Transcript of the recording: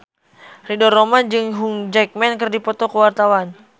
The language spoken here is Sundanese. Ridho Roma jeung Hugh Jackman keur dipoto ku wartawan